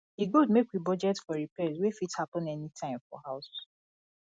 e good make we budget for repairs wey fit happen anytime for house